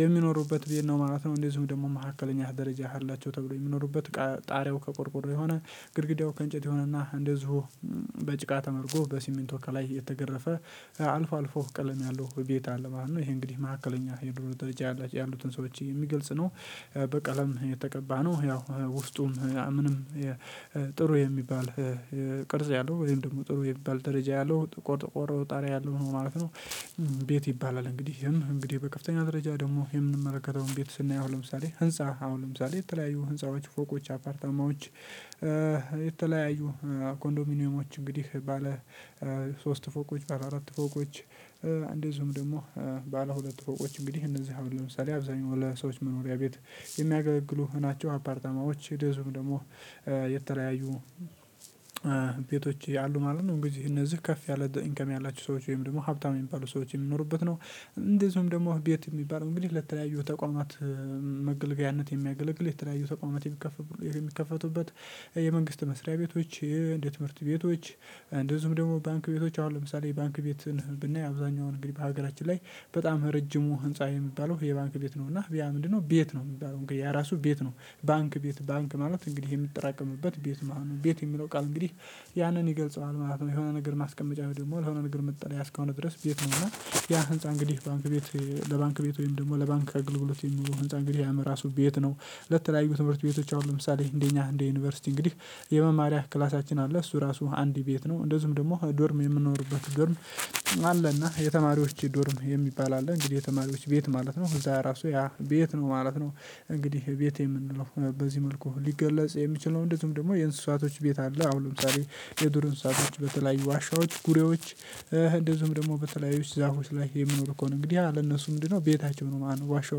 የሚኖሩበት ቤት ነው ማለት ነው። እንደዚሁም ደግሞ መካከለኛ ደረጃ አላቸው ተብሎ የሚኖሩበት ጣሪያው ከቆርቆሮ የሆነ ግድግዳው ከእንጨት የሆነና እንደዚሁ በጭቃ ተመርጎ በሲሚንቶ ከላይ የተገረፈ አልፎ አልፎ ቀለም ያለው ቤት አለ ማለት ነው። ይሄ እንግዲህ መካከለኛ የኑሮ ደረጃ ያሉትን ሰዎች የሚገልጽ ነው። በቀለም የተቀባ ነው ያው ውስጡም ምንም ጥሩ የሚባል ቅርጽ ያለው ወይም ደግሞ ጥሩ የሚባል ደረጃ ያለው ጥቁር ጥቁር ጣሪያ ያለው ነው ማለት ነው። ቤት ይባላል እንግዲህ እንግዲህ በከፍተኛ ደረጃ ደግሞ የምንመለከተውን ቤት ስናይ አሁን ለምሳሌ ህንፃ አሁን ለምሳሌ የተለያዩ ህንፃዎች ፎቆች አፓርታማዎች የተለያዩ ኮንዶሚኒየሞች እንግዲህ ባለ ሶስት ፎቆች ባለ አራት ፎቆች እንደዚሁም ደግሞ ባለ ሁለት ፎቆች እንግዲህ እነዚህ አሁን ለምሳሌ አብዛኛው ለሰዎች መኖሪያ ቤት የሚያገለግሉ ናቸው። አፓርታማዎች እንደዚሁም ደግሞ የተለያዩ ቤቶች አሉ ማለት ነው። እንግዲህ እነዚህ ከፍ ያለ ኢንካም ያላቸው ሰዎች ወይም ደግሞ ሀብታም የሚባሉ ሰዎች የሚኖሩበት ነው። እንደዚሁም ደግሞ ቤት የሚባለው እንግዲህ ለተለያዩ ተቋማት መገልገያነት የሚያገለግል የተለያዩ ተቋማት የሚከፈቱበት የመንግስት መስሪያ ቤቶች። እንደ ትምህርት ቤቶች እንደዚሁም ደግሞ ባንክ ቤቶች አሁን ለምሳሌ ባንክ ቤትን ብናይ አብዛኛው እንግዲህ በሀገራችን ላይ በጣም ረጅሙ ህንፃ የሚባለው የባንክ ቤት ነው። እና ያ ምንድነው? ቤት ነው የሚባለው ያ ራሱ ቤት ነው። ባንክ ቤት ባንክ ማለት እንግዲህ የሚጠራቀምበት ቤት ማለት ነው። ቤት የሚለው ቃል እንግዲህ ያንን ይገልጸዋል ማለት ነው። የሆነ ነገር ማስቀመጫ ደግሞ የሆነ ነገር መጠለያ አስከሆነ ድረስ ቤት ነውና። ያ ህንፃ እንግዲህ ባንክ ቤት ለባንክ ቤት ወይም ደግሞ ለባንክ አገልግሎት የሚዉለው ህንፃ እንግዲህ ያም እራሱ ቤት ነው። ለተለያዩ ትምህርት ቤቶች አሁን ለምሳሌ እንደ እኛ እንደ ዩኒቨርሲቲ እንግዲህ የመማሪያ ክላሳችን አለ። እሱ ራሱ አንድ ቤት ነው። እንደዚሁም ደግሞ ዶርም የምንኖርበት ዶርም አለና የተማሪዎች ዶርም የሚባል አለ። እንግዲህ የተማሪዎች ቤት ማለት ነው እዚያ ራሱ ያ ቤት ነው ማለት ነው። እንግዲህ ቤት የምንለው በዚህ መልኩ ሊገለጽ የሚችለው እንደዚሁም ደግሞ የእንስሳቶች ቤት አለ። አሁን ለምሳሌ የዱር እንስሳቶች በተለያዩ ዋሻዎች ጉሬዎች። እንደዚሁም ደግሞ በተለያዩ ዛፎች ላይ የሚኖር ከሆነ እንግዲህ ያ ለእነሱ ምንድነው ቤታቸው ነው ማለት ነው። ዋሻው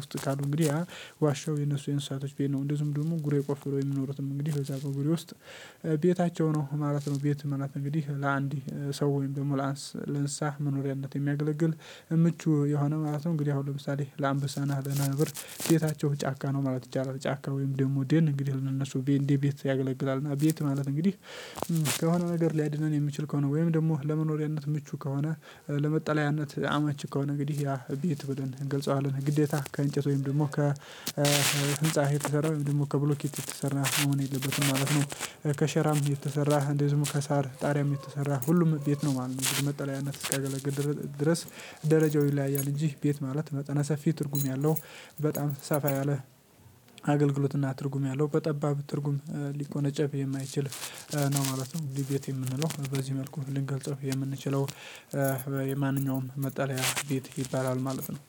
ውስጥ ካሉ እንግዲህ ዋሻው የነሱ የእንስሳቶች ቤት ነው። እንደዚሁም ደግሞ ጉሬ ቆፍረው የሚኖሩትም እንግዲህ በዚያ በጉሬው ውስጥ ቤታቸው ነው ማለት ነው። ቤት ምናምን እንግዲህ ለአንድ ሰው ወይም ደግሞ ለእንስሳት መኖሪያነት የሚያገለግል ምቹ ይሆነናል ማለት ነው። እንግዲህ አሁን ለምሳሌ ለአንበሳና ለነብር ቤታቸው ጫካ ነው ማለት ይቻላል። ጫካ ወይም ደግሞ ደን እንግዲህ ለ እነሱ እንደ ቤት ያገለግላል። እና ቤት ማለት እንግዲህ ከሆነ ነገር ሊያድነን የሚችል ከሆነ ወይም ደግሞ ለመኖሪያነት ምቹ ከሆነ። ለመጠለያነት አመች ከሆነ እንግዲህ ያ ቤት ብለን እንገልጸዋለን። ግዴታ ከእንጨት ወይም ደግሞ ከህንፃ የተሰራ ወይም ደግሞ ከብሎኬት የተሰራ መሆን የለበትም ማለት ነው። ከሸራም የተሰራ እንደዚሁም ከእሳር ጣሪያም የተሰራ ሁሉም ቤት ነው ማለት ነው። መጠለያነት እስካገለገለ ድረስ። ደረጃው ይለያያል እንጂ ቤት ማለት መጠነ ሰፊ ትርጉም ያለው። በጣም ሰፋ ያለ አገልግሎትና ትርጉም ያለው በጠባብ ትርጉም ሊቆነጨፍ የማይችል ነው ማለት ነው። ቤት የምንለው በዚህ መልኩ ልንገልጽም የምንችለው የማንኛውም መጠለያ ቤት ይባላል ማለት ነው።